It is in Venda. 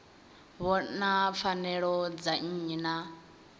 vhona pfanelo dza nnyi na